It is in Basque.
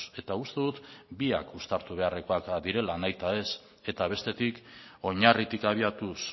eta uste dut biak uztartu beharrekoak direla nahita ez eta bestetik oinarritik abiatuz